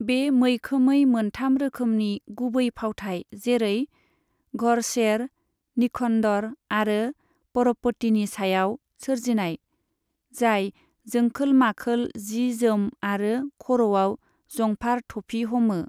बे मैखोमै मोनथाम रोखोमनि गुबै फावथाइ जेरै, घरशेर, निखन्दर आरो परपतिनि सायाव सोरजिनाय, जाय जोंखोल माखोल जि जोम आरो खर'आव जंफार थफि हमो।